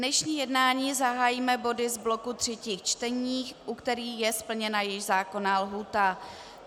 Dnešní jednání zahájíme body z bloku třetích čtení, u kterých je splněna jejich zákonná lhůta.